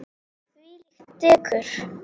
Þvílíkt dekur.